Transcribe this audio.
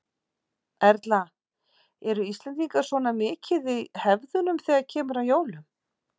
Erla: Eru Íslendingar svona mikið í hefðunum þegar kemur að jólum?